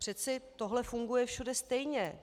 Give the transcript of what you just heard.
Přeci tohle funguje všude stejně.